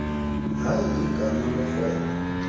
hayi igama lorhwebo